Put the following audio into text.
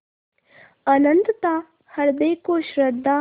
अनंतता हृदय को श्रद्धा